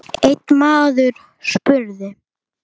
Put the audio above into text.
Einn maður spurði